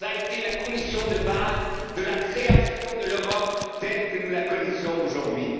Telle a été la condition de base de la création de l'Europe comme nous la connaissons aujourd'hui.